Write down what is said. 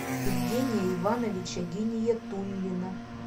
евгения ивановича гиниятуллина